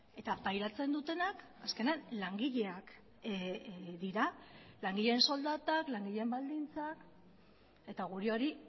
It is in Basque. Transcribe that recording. eta pairatzen dutenak azkenean langileak dira langileen soldatak langileen baldintzak eta guri hori